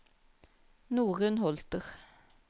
Norunn Holter